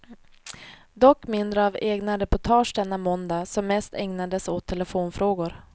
Dock mindre av egna reportage denna måndag som mest ägnades åt telefonfrågor.